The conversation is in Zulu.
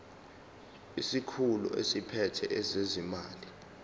isikhulu esiphethe ezezimali